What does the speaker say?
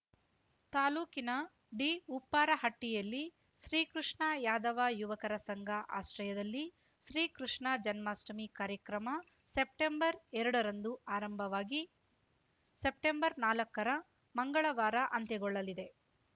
ತಾಲೂಕಿನ ಡಿಉಪ್ಪಾರಹಟ್ಟಿಯಲ್ಲಿ ಶ್ರೀಕೃಷ್ಣ ಯಾದವ ಯುವಕರ ಸಂಘ ಆಶ್ರಯದಲ್ಲಿ ಶ್ರೀಕೃಷ್ಣ ಜನ್ಮಾಷ್ಟಮಿ ಕಾರ್ಯಕ್ರಮ ಸೆಪ್ಟೆಂಬರ್ಎರಡರಂದು ಆರಂಭವಾಗಿ ಸೆಪ್ಟೆಂಬರ್ನಾಲಕ್ಕ ಮಂಗಳವಾರ ಅಂತ್ಯಗೊಳ್ಳಲಿದೆ